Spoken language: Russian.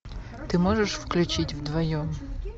ты можешь включить вдвоем